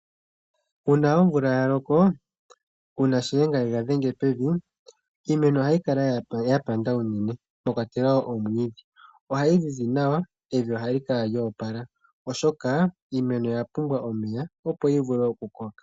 Uuna omvula ya loko/ uuna shiyenga yega dhenge pevi. Iimeno ohayi kala yapanda unene mwakwatelwa wo omwiidhi. Ohayi zizi nawa, evi ohali kala lyoopala, oshoka iimeno oya pumbwa omeya opo yivule okukoka.